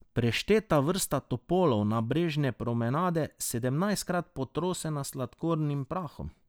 Prešteta vrsta topolov nabrežne promenade, sedemnajstkrat potrosena s sladkornim prahom.